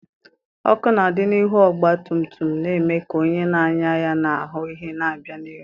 Ọkụ na-adị n'ihu ọgba tum tum na-eme ka onye na-anya ya na ahụ ihe na-abịa n'ihu.